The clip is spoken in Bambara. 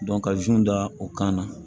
ka da u kan na